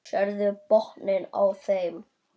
Sérðu botninn á þeim.